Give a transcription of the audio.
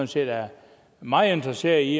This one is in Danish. set er meget interesseret i